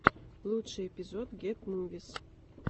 лучший эпизод гет мувис